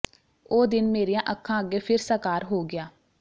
ਉਹ ਦਿਨ ਮੇਰੀਆਂ ਅੱਖਾਂ ਅੱਗੇ ਫਿਰ ਸਾਕਾਰ ਹੋ ਗਿਆ